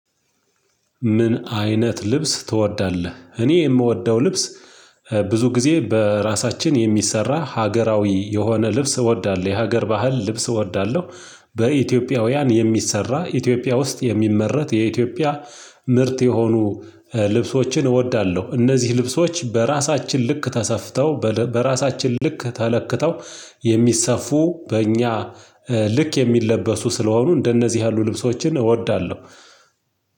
ምን አይነት ልብስ ትወዳለህ? እኔ የምወደው ልብስ ብዙ ጊዜ በራሳችን የሚሰራ ሀገራዊ የሆነ ልብስ እወዳለሁ የሀገር ባህል ልብስ እወዳለሁ። በኢትዮጵያውያን የሚሰራ ኢትዮጵያ ውስጥ የሚመረት የኢትዮጵያ ምርት የሆኑ ልብሶችን እወዳለሁ። እነዚህ ልብሶች በራሳችን ልክ ተሰፍተው በራሳችን ልክ ተለክተው የሚሰፉ በእኛ ልክ የሚለበሱ ስለሆኑ እንደነዚህ ያሉ ልብሶችን እወዳለሁ።